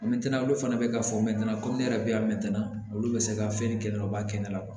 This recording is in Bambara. olu fana bɛ ka fɔ komi ne yɛrɛ bɛ a mɛtana olu bɛ se ka fɛn kɛnɛ u b'a kɛ kɛnɛ la